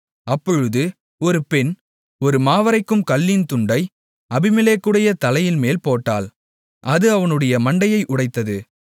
அப்பொழுது ஒரு பெண் ஒரு மாவரைக்கும் கல்லின் துண்டை அபிமெலேக்குடைய தலையின்மேல் போட்டாள் அது அவனுடைய மண்டையை உடைத்தது